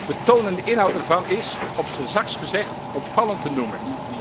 De toon en de inhoud ervan zijn op zijn zachtst gezegd opvallend te noemen.